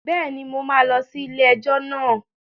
Bẹ́ẹ̀ni, mo máa lọ sí ilé-ẹjọ́ náà